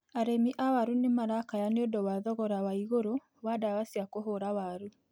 Arĩmi a waru nĩ marakaya nĩ ũndũ wa thogora wa igũrũ wa ndawa cia kũhũra waru.